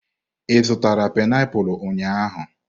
Ị zụtara painiapulu ụnyahụ?